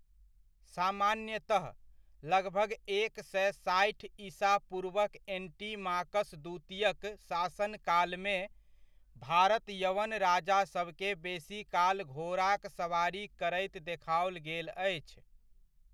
सामान्यतः, लगभग एक सए साठि ईसा पूर्वक एंटीमाकस द्वितीयक शासनकालमे, भारत यवन राजासबकेँ बेसीकाल घोड़ाक सवारी करैत देखाओल गेल अछि।